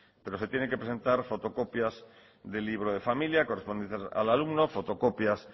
pero se tienen que presentar fotocopias del libro de familia correspondientes al alumno fotocopias